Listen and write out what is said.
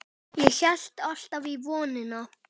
Ég hélt alltaf í vonina.